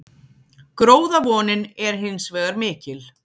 Gróðavonin er hins vegar mikil